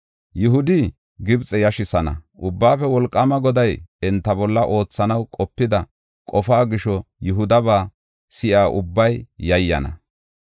Yihudi Gibxe yashisana; Ubbaafe Wolqaama Goday enta bolla oothanaw qopida qofaa gisho Yihudaba si7iya ubbay yayyana.